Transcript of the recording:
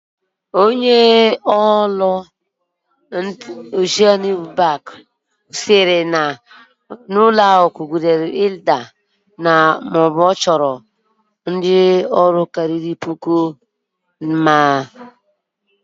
Oceanic Bank manager said that the bank starting falling after dismissing over one thousand staffs within thirty days.